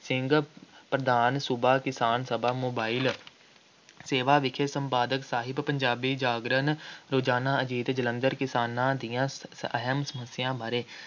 ਸਿੰਘ, ਪ੍ਰਧਾਨ, ਸੂਬਾ ਕਿਸਾਨ ਸਭਾ ਮੋਬਾਇਲ ਸੇਵਾ ਵਿਖੇ, ਸੰਪਾਦਕ ਸਾਹਿਬ, ਪੰਜਾਬੀ ਜਾਗਰਣ, ਰੋਜ਼ਾਨਾ ਅਜੀਤ ਜਲੰਧਰ, ਕਿਸਾਨਾਂ ਦੀਆਂ ਅਹਿਮ ਸਮੱਸਿਆ ਬਾਰੇ,